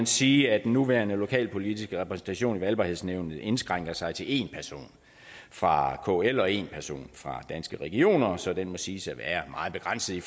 sige at den nuværende lokalpolitiske repræsentation i valgbarhedsnævnet indskrænker sig til én person fra kl og én person fra danske regioner så den må siges at være meget begrænset i